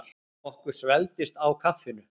Okkur svelgdist á kaffinu.